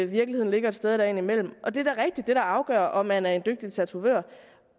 virkeligheden ligger et sted der imellem det er da rigtigt at det der afgør om man er en dygtig tatovør